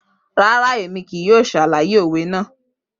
Rara, Emi kii yoo ṣalaye owe naa.